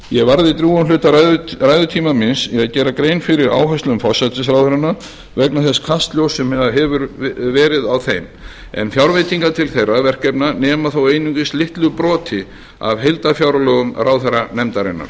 ég varði drjúgum hluta ræðutíma míns í að gera grein fyrir áherslum forsætisráðherranna vegna þess kastljóss sem hefur verið á þeim en fjárveitingar til þeirra verkefna nema þó einungis litlu broti af heildarfjárlögum ráðherranefndarinnar